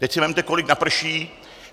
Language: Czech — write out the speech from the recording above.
Teď si vezměte, kolik naprší.